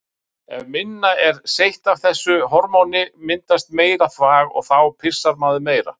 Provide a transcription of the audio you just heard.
Ef minna er seytt af þessu hormóni myndast meira þvag og þá pissar maður meira.